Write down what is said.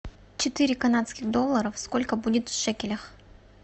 четыре канадских долларов сколько будет в шекелях